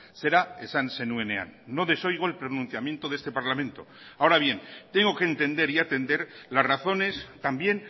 zera esan zenuenean no desoigo el pronunciamiento de este parlamento ahora bien tengo que entender y atender las razones también